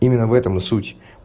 именно в этом и суть